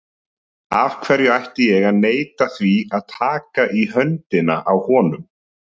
Af hverju ætti ég að neita því að taka í höndina á honum?